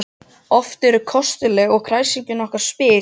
Oft eru þau kostuleg og kræsin okkar spil